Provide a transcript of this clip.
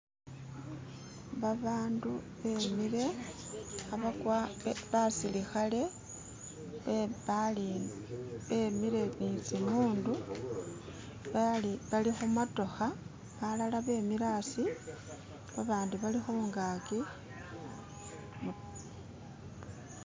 Babandu bemile hebakwa,. kwa basilikhale be balindi bemile nitsimundu bali balikhumotokha balala bemile hasi babandi bali khungakin